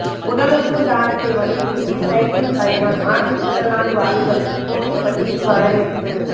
உடலுறுப்பு தானத்தை வலியுறுத்தி சைக்கிள் பயணம் மாற்றுத்திறனாளி வாலிபருக்கு கோவில்பட்டியில் வரவேற்பு